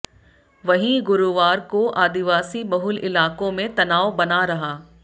वहीं गुरुवार को आदिवासी बहुल इलाकों में तनाव बना रहा